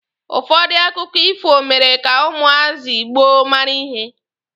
Ụfọdụ akụkọ ifo mere ka ụmụazị gboo mara ihe